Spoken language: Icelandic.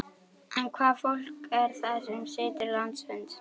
En hvaða fólk er það sem situr landsfund?